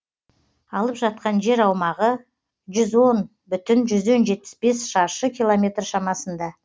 алып жатқан жер аумағы жүз он бүтін жүзден жетпіс бес шаршы километр шамасында